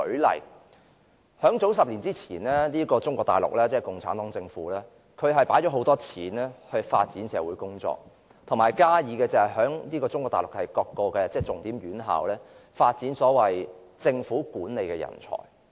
例如，中國大陸即共產黨政府於10年前投放大量金錢發展社會，以及在各重點院校發展所謂政府管理人才。